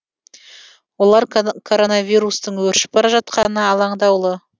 олар коронавирустың өршіп бара жатқанына алаңдаулы